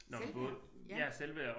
Selvværd ja